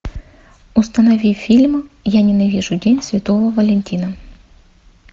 установи фильм я ненавижу день святого валентина